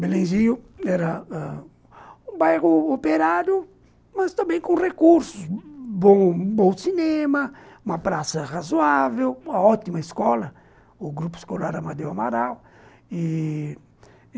Belenzinho era ãh um bairro operário, mas também com recursos, bom bom cinema, uma praça razoável, uma ótima escola, o Grupo Escolar Amadeu Amaral e...